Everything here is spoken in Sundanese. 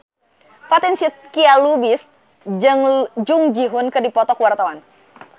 Fatin Shidqia Lubis jeung Jung Ji Hoon keur dipoto ku wartawan